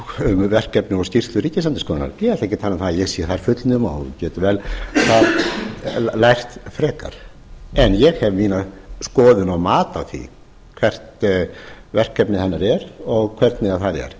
um verkefni og skýrslur ríkisendurskoðun ég ætla ekki að tala um að ég sé þar fullnuma og get vel lært frekar en ég hef mína skoðun og mat á því hvert verkefni hennar og hvernig það er